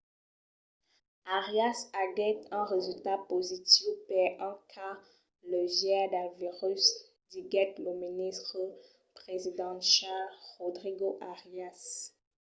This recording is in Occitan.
arias aguèt un resultat positiu per un cas leugièr del virus diguèt lo ministre presidencial rodrigo arias